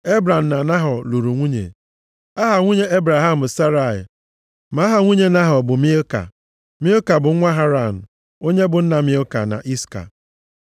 Ebram na Nahọ lụrụ nwunye. Aha nwunye Ebram bụ Serai ma aha nwunye Nahọ bụ Milka. Milka bụ nwa Haran, onye bụ nna Milka na Iska.